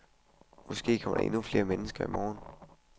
Måske kommer der endnu flere mennesker i morgen.